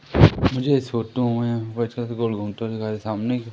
मुझे इस फोटो में से गोल घूमते हुए दिखा रहे सामने--